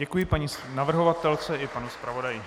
Děkuji paní navrhovatelce i panu zpravodaji.